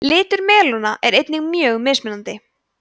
litur melóna er einnig mjög mismunandi